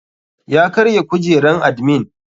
Ya karya kujeran admin.